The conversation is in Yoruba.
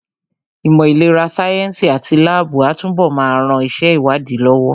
Ìmọ̀ ìlera sáyẹ́ǹsì àti láàbù á túnbọ̀ máa ran iṣẹ́ ìwádìí lọ́wọ́